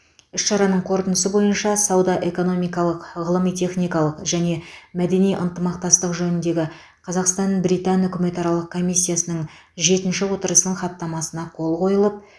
іс шараның қорытындысы бойынша сауда экономикалық ғылыми техникалық және мәдени ынтымақтастық жөніндегі қазақстан британ үкіметаралық комиссиясының жетінші отырысының хаттамасына қол қойылып